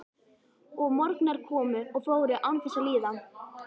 Og morgnar komu og fóru án þess að líða.